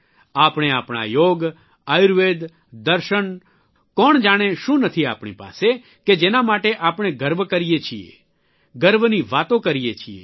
આપણે આપણા યોગ આયુર્વેદ દર્શન કોઇજાણે શું નથી આપણી પાસે કે જેના માટે આપણે ગર્વ કરીએ છીએ ગર્વની વાતો કરીએ છીએ